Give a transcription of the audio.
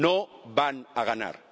No van a ganar.